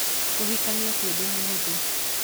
Kũhikania ti ũndũ mũhũthũ